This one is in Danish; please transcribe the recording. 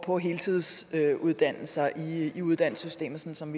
på heltidsuddannelser i uddannelsessystemet sådan som